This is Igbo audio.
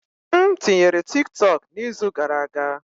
M tinyere TikTok n'izu gara aga.